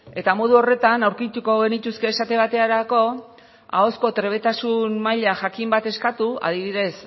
eta modu horretan aurkituko genituzke esate baterako ahozko trebetasun maila jakin bat eskatu adibidez